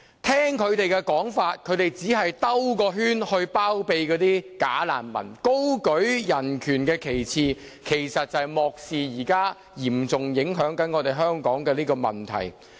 他們的說法只是為了繞一個圈包庇"假難民"，高舉人權旗幟，卻漠視了現時嚴重影響香港的問題。